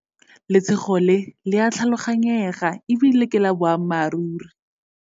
Letshogo le le a tlhaloganyega e bile ke la boammaruri.